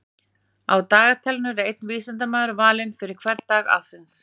Á dagatalinu er einn vísindamaður valinn fyrir hvern dag ársins.